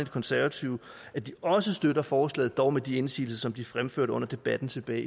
konservative at de også støtter forslaget dog med de indsigelser som de fremførte under debatten tilbage